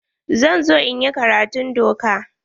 Zan zo in yi karatun doka.